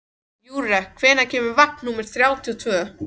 Júrek, hvenær kemur vagn númer þrjátíu og tvö?